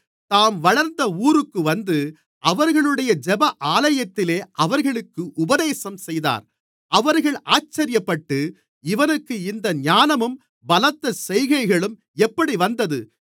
தாம் வளர்ந்த ஊருக்கு வந்து அவர்களுடைய ஜெப ஆலயத்திலே அவர்களுக்கு உபதேசம் செய்தார் அவர்கள் ஆச்சரியப்பட்டு இவனுக்கு இந்த ஞானமும் பலத்த செய்கைகளும் எப்படி வந்தது